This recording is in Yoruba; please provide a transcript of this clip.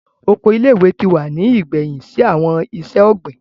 Oko ile-iwe ti wa ni igbẹhin si awọn iṣẹ-ogbin.